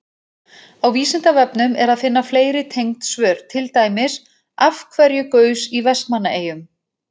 Á Vísindavefnum er að finna fleiri tengd svör, til dæmis: Af hverju gaus í Vestmannaeyjum?